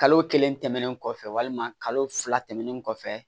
Kalo kelen tɛmɛnen kɔfɛ walima kalo fila tɛmɛnen kɔfɛ